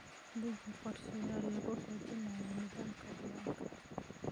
Deji qorshayaal lagu xoojinayo nidaamka diiwaanka.